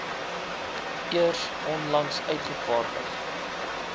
eers onlangs uitgevaardig